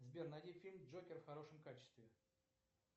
сбер найди фильм джокер в хорошем качестве